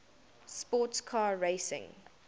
sports car racing